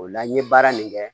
O la n ye baara min kɛ